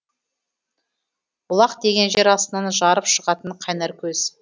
бұлақ деген жер астынан жарып шығатын қайнар көз